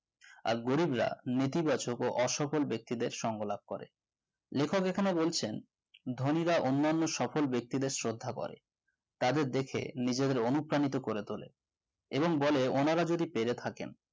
আর গরিবরা নেতিবাচক ও সফল ব্যক্তিদের সঙ্গ লাভ করে লেখক এখানে বলছেন ধনীরা অন্যান্য সফল ব্যক্তিদের শ্রদ্ধা করেন তাদের দেখে নিজেদের অনুপ্রাণিত করে তোলে এবং বলে ওনারা যদি পেরে থাকেন